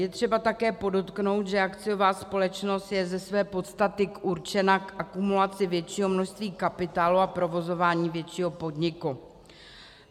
Je třeba také podotknout, že akciová společnost je ze své podstaty určena k akumulaci většího množství kapitálu a provozování většího podniku.